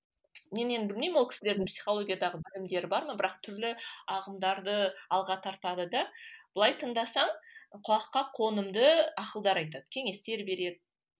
мен енді білмеймін ол кісілердің психологиядағы білімдері бар ма бірақ түрлі ағымдарды алға тартады да былай тыңдасаң құлаққа қонымды ақылдар айтады кеңестер береді